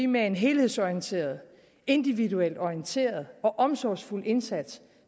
med en helhedsorienteret individuelt orienteret og omsorgsfuld indsats